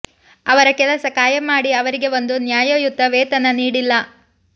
ಅವರ ಕೆಲಸ ಕಾಯಂ ಮಾಡಿ ಅವರಿಗೆ ಒಂದು ನ್ಯಾಯಯುತ ವೇತನ ನೀಡಿಲ್ಲ